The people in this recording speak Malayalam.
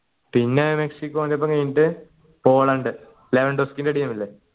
പിന്നെ മെക്സിക്കോന്റെപ്പം കഴിഞ്ഞിട്ട് പോളണ്ട് team ഇല്ലേ